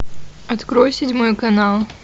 открой седьмой канал